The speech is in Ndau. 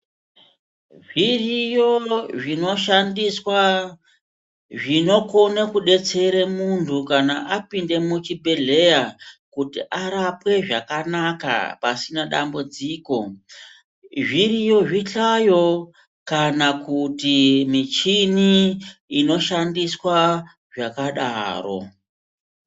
Zviriyo zvinoshandiswa zvinokone kudetsere muntu kana apinde muchibhedhleya kuti arapwe zvakanaka pasina dambudziko. Zviriyo zvihlayo kana kuti michini inoshandiswa zvakadaro.